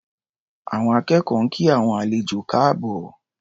Àwọn akẹ́kọ̀ọ́ ń kí àwọn àlejò káàbọ̀.